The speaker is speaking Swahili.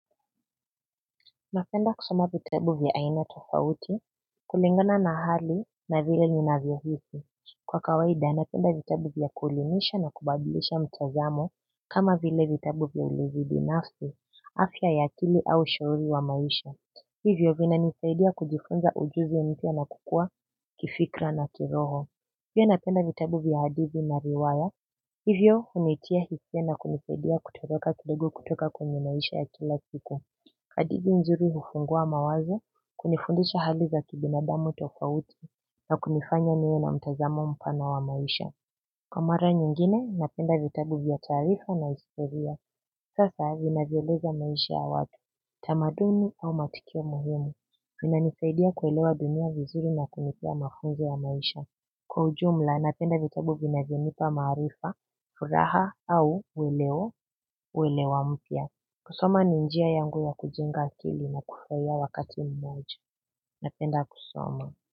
Napenda kusoma vitabu vya aina tofauti. Kulingana na hali na vile ninavyo hisi. Kwa kawaida na napenda vitabu vya kuelimisha na kubadilisha mtazamo kama vile vitabu vya ulezi binafsi, afya ya akili au ushauri wa maisha. Hivyo vina nisaidia kujifunza ujuzi mpya na nakukua kifikra na kiroho. Pia napenda vitabu vya hadithi na riwaya hivyo hunitia hisia na kunisaidia kutoroka kidogo kutoka kwenye maisha ya kila siku. Hadithi nzuri hufungua mawazo, kunifundisha hali za kibinadamu tofauti na kunifanya niwe na mtazamo mpana wa maisha. Kwa mara nyingine napenda vitabu vya taarifa na historia hasa zinazoeleza maisha ya watu, tamaduni au matukio muhimu. Vina nisaidia kuelewa dunia vizuri na kunipea mafunzo ya maisha. Kwa ujumla napenda vitabu vinavyo nipa maarifa, furaha au uelewo, uelewa mpya. Kusoma ni njia yangu ya kujenga akili na kufurahia wakati mmoja. Napenda kusoma.